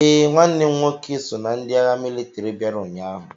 Ee, nwanne m nwoke so na ndị agha mịlịtịrị bịara ụnyaahụ.